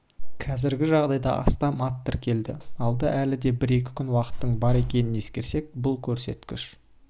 қазіргі жағдайда астам ат тіркелді алда әлі де бір-екі күн уақыттың бар екенін ескерсек бұл көрсеткіш